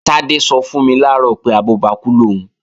Tádé sọ fún mi làárọ̀ pé, abọ́bakú lòún